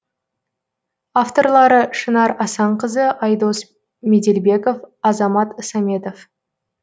авторлары шынар асанқызы айдос меделбеков азамат саметов